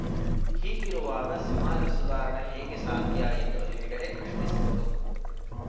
ಹೀಗಿರುವಾಗ ಸಮಾಜ ಸುಧಾರಣೆ ಹೇಗೆ ಸಾಧ್ಯ ಎಂದು ಹೆಗ್ಡೆ ಪ್ರಶ್ನಿಸಿದರು